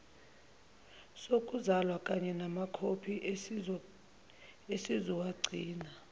sokuzalwa kanyenamakhophi esizowagcina